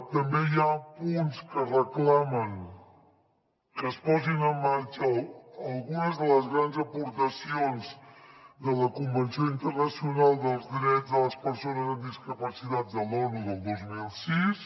també hi ha punts que reclamen que es posin en marxa algunes de les grans aportacions de la convenció internacional dels drets de les persones amb discapacitats de l’onu del dos mil sis